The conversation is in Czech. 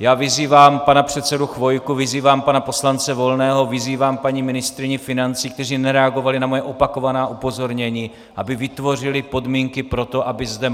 Já vyzývám pana předsedu Chvojku, vyzývám pana poslance Volného, vyzývám paní ministryni financí, kteří nereagovali na moje opakovaná upozornění, aby vytvořili podmínky pro to, aby zde